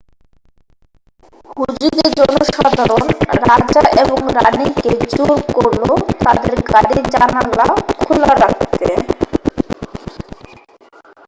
হুজুগে জনসাধারণ রাজা এবং রাণী কে জোর করল তাদের গাড়ির জানালা খোলা রাখতে